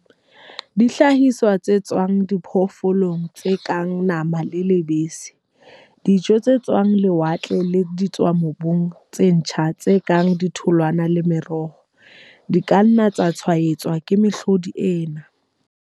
Dihlahiswa tse tswang diphoofolong tse kang nama le lebese, dijo tse tswang lewatle le ditswamobung tse ntjha tse kang ditholwana le meroho, di ka nna tsa tshwaetswa ke mehlodi ena.